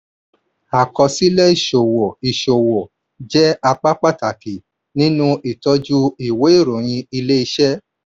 àkọsílẹ̀ ìṣòwò ìṣòwò jẹ́ apá pàtàkì nínú ìtọ́jú ìwé ìròyìn ilé-iṣẹ́.